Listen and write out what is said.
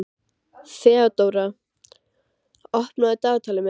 Þeódóra, opnaðu dagatalið mitt.